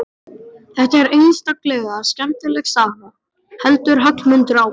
Þetta er einstaklega skemmtileg saga, heldur Hallmundur áfram.